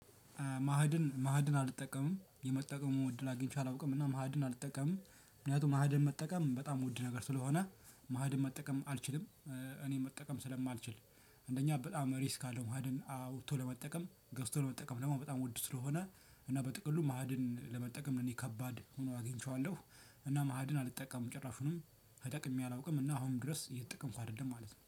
ማህድን ማህድን አልጠቀምም የመጠቀሙ እድል አግኝቼ አላውቅም እና ማህድን አልጠቀምም ምክንያቱም ማህድን መጠቀም በጣም የምወድ ነገር ስለሆነ ማህድን መጠቀም አልችልም። እኔ መጠቀም ስለማልችል አንደኛ በጣም ሪስክ አለው ማዕድን አውጥቶ ለመጠቀም ገዝቶ ለመጠቀም ደግሞ በጣም ውድ ስለሆነ እና በጥቅሉ ማዕድን ለመጠቀም እኔ ከባድ ሆኖ አግኝቼዋለሁ። እና ማ እድን አልጠቀምም ጭራሹንም ተጠቅሜ አላውቅም እና አሁን ድረስ እየተጠቀምኩ አይደለም ማለት ነው